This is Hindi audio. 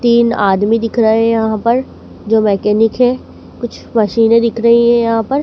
तीन आदमी दिख रहे है यहाँ पर। जो मैकेनिक है। कुछ मशीनें दिख रही है यहाँ पर।